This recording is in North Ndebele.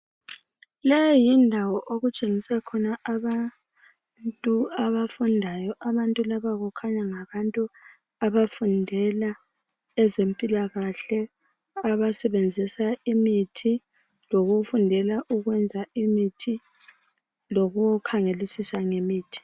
Le yindawo okutshengisa abantu abafundayo , abantu laba kukhanya ngabantu abafundela ezempilakahle abasebenzisa imithi lokufundela ukwenza imithi lokukhangelisisa ngemithi